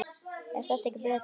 er þetta ekki betra?